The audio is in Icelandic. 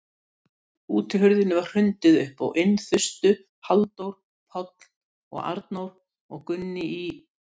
Einhver stóð úti í rökkrinu og nefndi nafn hans aftur og aftur.